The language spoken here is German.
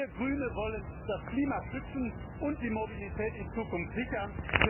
Wir Grüne wollen das Klima schützen und die Mobilität in Zukunft sichern.